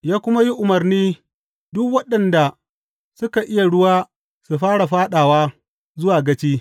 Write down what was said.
Ya kuma yi umarni duk waɗanda suka iya ruwa su fara fāɗawa zuwa gaci.